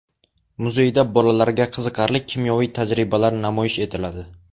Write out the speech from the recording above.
Muzeyda bolalarga qiziqarli kimyoviy tajribalar namoyish etiladi.